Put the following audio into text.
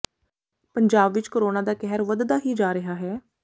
ਪੰਜਾਬ ਵਿਚ ਕੋਰੋਨਾ ਦਾ ਕਹਿਰ ਵਧਦਾ ਹੀ ਜਾ ਰਿਹਾ ਹੈ